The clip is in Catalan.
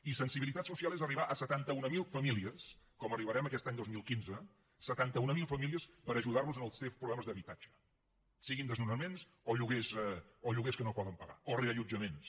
i sensibilitat social és arribar a setanta mil famílies com hi arribarem aquest any dos mil quinze setanta mil famílies per ajudarlos en els seus problemes d’habitatge siguin desnonaments o lloguers que no poden pagar o reallotjaments